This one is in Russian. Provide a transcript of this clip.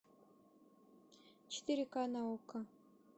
четыре ка на окко